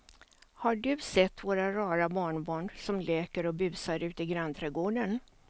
Har du sett våra rara barnbarn som leker och busar ute i grannträdgården!